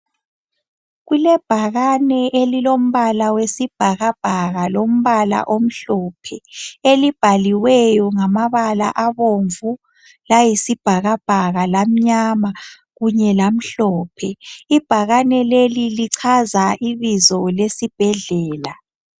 Kulebhakane elilombala wesibhakabhaka, lombala omhlophe elibhaliweyo ngamabala abomvu, layisibhakabhaka, lamnyama kunye lamhlophe. Ibhakane leli lichaza ibizo lesibhedlela.